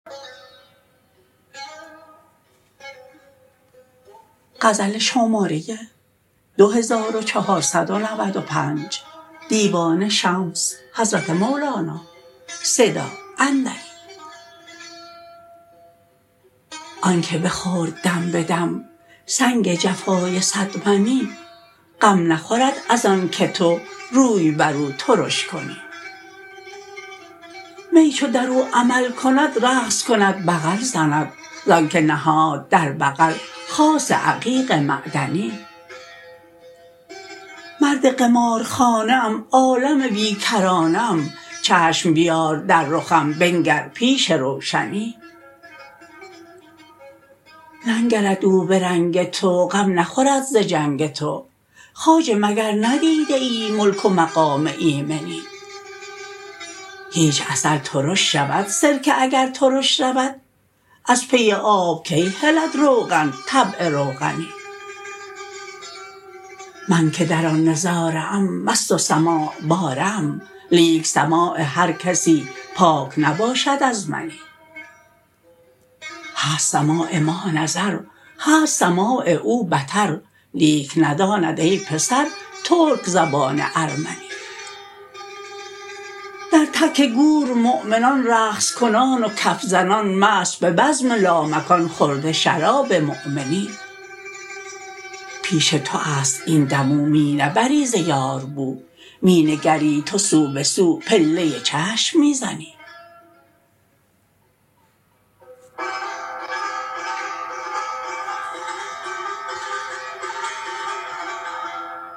آنک بخورد دم به دم سنگ جفای صدمنی غم نخورد از آنک تو روی بر او ترش کنی می چو در او عمل کند رقص کند بغل زند ز آنک نهاد در بغل خاص عقیق معدنی مرد قمارخانه ام عالم بی کرانه ام چشم بیار در رخم بنگر پیش روشنی ننگرد او به رنگ تو غم نخورد ز جنگ تو خواجه مگر ندیده ای ملک و مقام ایمنی هیچ عسل ترش شود سرکه اگر ترش رود از پی آب کی هلد روغن طبع روغنی من که در آن نظاره ام مست و سماع باره ام لیک سماع هر کسی پاک نباشد از منی هست سماع ما نظر هست سماع او بطر لیک نداند ای پسر ترک زبان ارمنی در تک گور مؤمنان رقص کنان و کف زنان مست به بزم لامکان خورده شراب مؤمنی پیش تو است این دم او می نبری ز یار بو می نگری تو سو به سو پله چشم می زنی